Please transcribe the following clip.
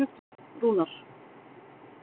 Rúnar